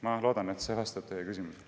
Ma loodan, et see vastab teie küsimusele.